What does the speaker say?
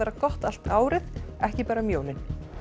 gott allt árið ekki bara um jólin